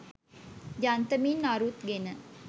යන්තමින් අරුත් ගෙන